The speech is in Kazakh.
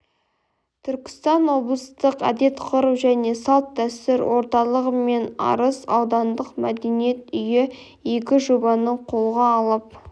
түркістан облыстық әдет-ғұрып және салт-дәстүр орталығы мен арыс аудандық мәдениет үйі игі жобаны қолға алып